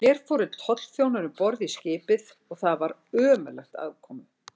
Hér fóru tollþjónar um borð í skipið, og var þar ömurlegt aðkomu.